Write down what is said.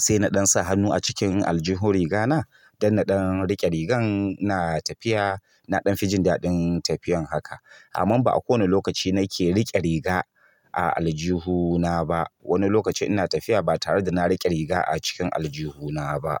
sai na ɗan sa hannu a cikin aljihun rigana don na ɗan riƙe rigar ina tafiya. Na ɗan fijin daɗin tafiyan haka. Amma ba a ko wani lokaci nake riƙe riga a aljihuna ba. Wani lokacin ina tafiya ba tare da na riƙe riga a cikin aljihuna ba.